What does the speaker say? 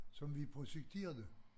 Som vi projekterede